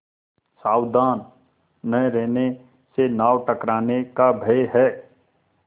सावधान न रहने से नाव टकराने का भय है